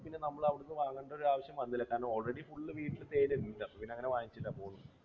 അപ്പോൾ നമ്മൾ അവിടെ നിന്ന് വാങ്ങേണ്ട ആവശ്യം വന്നില്ല കാരണം നമ്മൾ already full വീട്ടിൽ തേൻ ഉണ്ട് അപ്പോൾ അവിടെ നിന്ന് അങ്ങനെ വാങ്ങിച്ചില്ല, പോന്നു.